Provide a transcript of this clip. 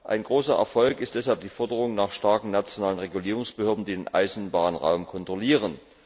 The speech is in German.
Ein großer Erfolg ist deshalb die Forderung nach starken nationalen Regulierungsbehörden, die den Eisenbahnraum kontrollieren.